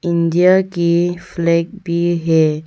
India की flag भी है।